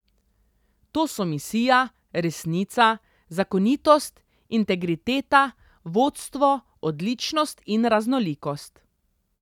To so misija, resnica, zakonitost, integriteta, vodstvo, odličnost in raznolikost.